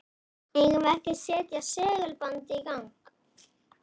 Eigum við ekki að setja segulbandið í gang?